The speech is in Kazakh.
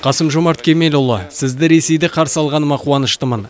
қасым жомарт кемелұлы сізді ресейде қарсы алғаныма қуаныштымын